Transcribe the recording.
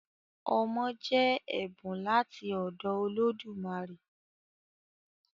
Ọmọ jẹ́ ẹ̀bùn láti ọ̀dọ̀ Olódùmarè